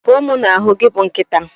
Pụọ m na ahu gị bụ nkịta